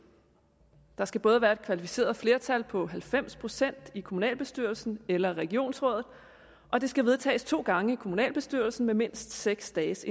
der skal både være et kvalificeret flertal på halvfems procent i kommunalbestyrelsen eller regionsrådet og det skal vedtages to gange i kommunalbestyrelsen med mindst seks dages